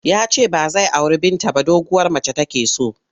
Ya ce ba zai auri Binta ba doguwar mace take so.